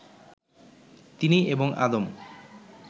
তিনি এবং আদম